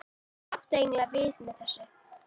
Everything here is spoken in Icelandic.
Á miðri leið er bærinn Hnausar.